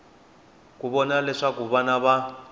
ku vona leswaku vana va